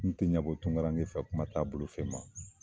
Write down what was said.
N te ɲɛbɔ tunkarange fɛ kuma t'a bolo fɛn ma.